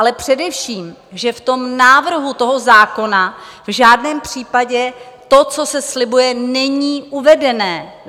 Ale především, že v tom návrhu toho zákona v žádném případě to, co se slibuje, není uvedené.